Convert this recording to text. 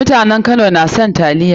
Mutanen Kano na son taliya.